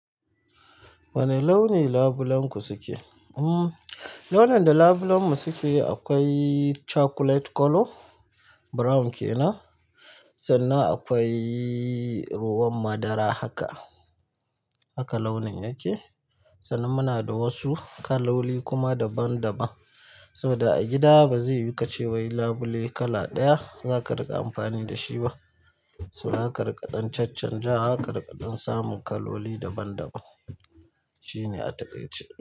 Wane launi labulenku suke? Hmm launin da labulenmu suke akwai chocolate color, brown kenan sannan akwai ruwan madara haka, haka launin yake. Sannan muna da wasu kaloli kuma daban-daban. Saboda a gida ba zai yiwu ka ce wai labule kala ɗaya za ka riƙa amfani da shi ba. So zaka riƙa ɗan chacchanjawa, ka riƙa ɗan samun kaloli daban-daban. Shi ne a taƙaice.